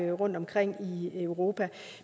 er rundtomkring i europa